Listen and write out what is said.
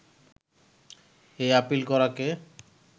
এই আপিল করাকে